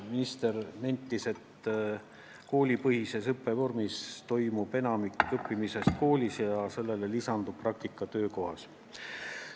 Minister nentis, et koolipõhises õppevormis toimub enamik õppimisest koolis, millele lisandub praktika töökohas.